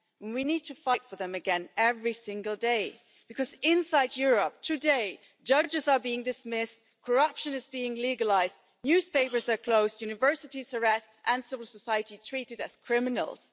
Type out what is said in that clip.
We need to fight for them again every single day, because inside Europe today, judges are being dismissed, corruption is being legalised, newspapers are closed, universities harassed and civil society treated as criminals.